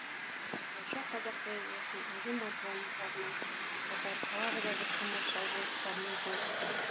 осылайша қазақ поэзиясының інжу маржандарының қатары тағы да бір тамаша жыр кітабымен толықты